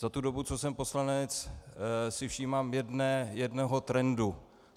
Za tu dobu, co jsem poslanec, si všímám jednoho trendu.